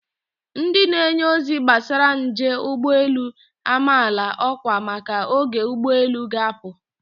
Ndị na-enye ozi gbasara njel ụgbọelu amaala ọkwa maka oge ụgbọelu ga-apụ.